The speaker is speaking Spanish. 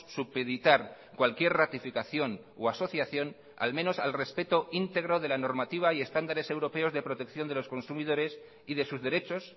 supeditar cualquier ratificación o asociación al menos al respeto íntegro de la normativa y estándares europeos de protección de los consumidores y de sus derechos